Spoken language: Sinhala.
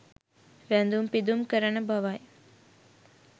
වැඳුම් පිදුම් කරන බවයි.